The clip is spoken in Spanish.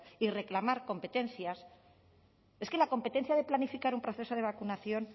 y reclamar competencias es que la competencia de planificar un proceso de vacunación